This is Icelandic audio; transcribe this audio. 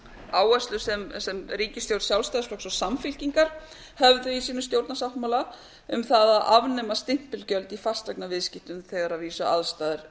áherslur sem ríkisstjórn sjálfstæðisflokks og samfylkingar höfðu í sínum stjórnarsáttmála um það að afnema stimpilgjöld í fasteignaviðskiptum þegar að vísu aðstæður